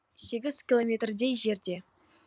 сегіз километрдей жерде